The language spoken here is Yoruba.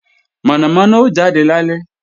Mọ̀nàmọ́ná ó jade lálẹ́